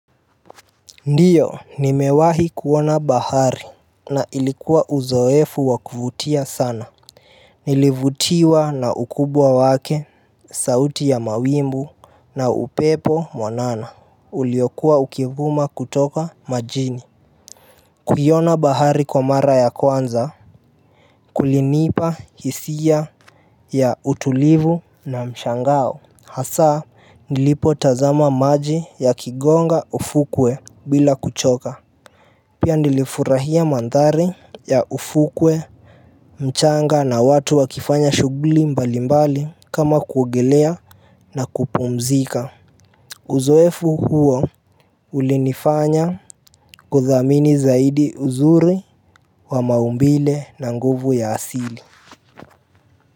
Ndiyo nimewahi kuona bahari na ilikuwa uzoefu wakuvutia sana Nilivutiwa na ukubwa wake, sauti ya mawimbi na upepo mwanana uliokua ukivuma kutoka majini kuiona bahari kwa mara ya kwanza kulinipa hisia ya utulivu na mshangao hasaa nilipo tazama maji yakigonga ufukwe bila kuchoka Pia nilifurahia mandhari ya ufukwe mchanga na watu wakifanya shughuli mbali mbali kama kuogelea na kupumzika Uzoefu huo ulinifanya kudhamini zaidi uzuri wa maumbile na nguvu ya asili.